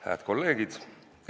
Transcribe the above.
Hääd kolleegid!